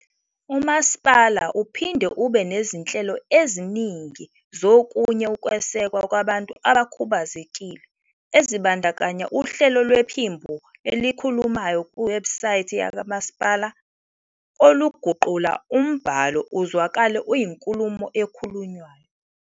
Umasipala uphinde ube nezinhlelo eziningi zokunye ukwesekwa kwabantu abakhubazekile ezibandakanya uhlelo lwephimbo elikhulumayo kuwebhusayithi yakwamasipala oluguqula umbhalo uzwakale uyinkulumo ekhulunywayo.